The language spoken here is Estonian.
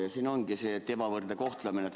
Probleem ongi see, et on ebavõrdne kohtlemine.